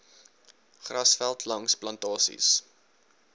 grasveld langs plantasies